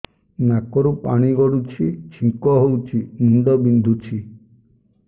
ନାକରୁ ପାଣି ଗଡୁଛି ଛିଙ୍କ ହଉଚି ମୁଣ୍ଡ ବିନ୍ଧୁଛି